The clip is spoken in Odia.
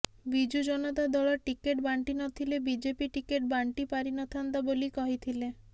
ବିଜୁ ଜନତା ଦଳ ଟିକେଟ୍ ବାଂଟିନଥିଲେ ବିଜେପି ଟିକେଟ୍ ବାଂଟି ପାରିନଥାନ୍ତା ବୋଲି କହିଥିଲେ